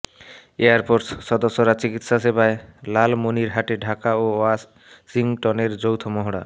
air force সদস্যরা চিকিৎসাসেবায় লালমনিরহাটে ঢাকা ও ওয়াশিংটনের যৌথ মহড়া